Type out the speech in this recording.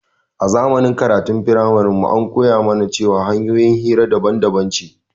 A zamanin karatun framarin mu an koya mana cewar hanƴoyin hira daban daban ce